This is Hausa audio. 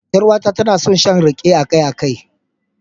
Yar uwata tana son shan rake akai-akai.